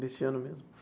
Desse ano mesmo?